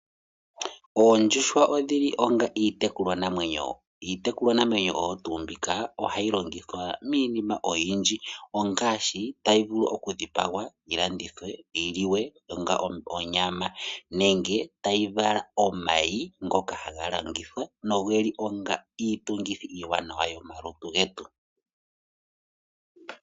OOndjuhwa odhi li onga iitekulwa namwenyo. Iitekulwa namwenyo mbika oha yi logithwa miinima oyindji, ngaashi ta yivulu okudhipagwa, yilandithwe, yiliwe onga onyama nenge ta yi vala omayi ngoka ha ga landithwa go ogena iitungithi yomalutu getu.